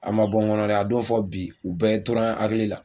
A ma bɔ n kɔnɔ dɛ a don fo bi u bɛɛ tora n hakili la